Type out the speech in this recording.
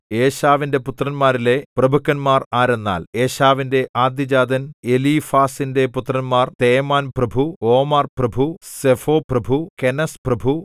ഏശാവിന്റെ പുത്രന്മാരിലെ പ്രഭുക്കന്മാർ ആരെന്നാൽ ഏശാവിന്റെ ആദ്യജാതൻ എലീഫാസിന്റെ പുത്രന്മാർ തേമാൻപ്രഭു ഓമാർപ്രഭു സെഫോപ്രഭു കെനസ്പ്രഭു